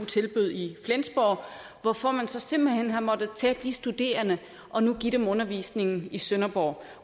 tilbød i flensborg hvorfor man så simpelt hen har måttet tage de studerende og nu give dem undervisningen i sønderborg